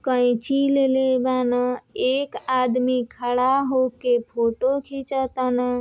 कईची लेले बान। एक आदमी खड़ा होके फोटो खीचत तानह।